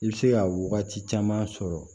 I bɛ se ka wagati caman sɔrɔ